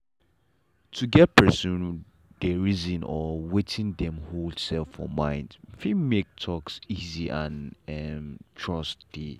to get how persin dey reason or wetin dem hold um for mind fit make talk easy and um trust dey.